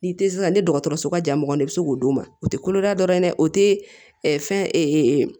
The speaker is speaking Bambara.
N'i tɛ sisan ni dɔgɔtɔrɔso ka ja mɔgɔ ye i bɛ se k'o d'u ma u tɛ koloda dɔrɔn dɛ o tɛ fɛn